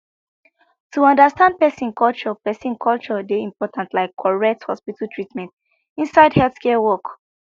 to understand person culture person culture dey important like correct hospital treatment inside healthcare work